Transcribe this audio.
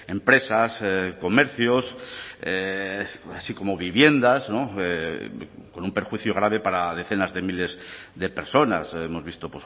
empresas comercios así como viviendas con un perjuicio grave para decenas de miles de personas hemos visto